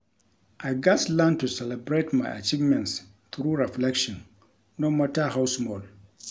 I gats learn to celebrate my achievements through reflection, no matter how small.